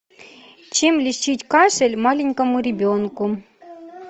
чем лечить кашель маленькому ребенку